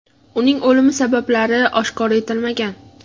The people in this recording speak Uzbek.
Uning o‘limi sababi oshkor etilmagan.